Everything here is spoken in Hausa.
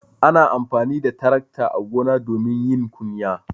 Ana amfani da tarakta a gona domin yin kunya.